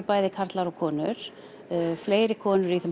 bæði karlar og konur fleiri konur